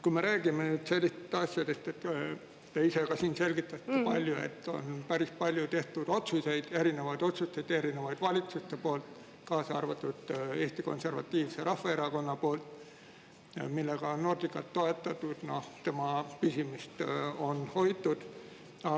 Me räägime sellistest asjadest, te ise ka siin selgitate, et on päris palju tehtud otsuseid, erinevaid otsuseid erinevate valitsuste poolt, kaasa arvatud Eesti Konservatiivse Rahvaerakonna poolt, millega on Nordicat toetatud, tema püsimist on hoitud.